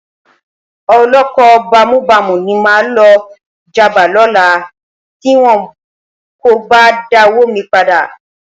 Olóko bámúbamù ni máa lọ já bá lọ́la tí wọn kò bá dáwó mi padà.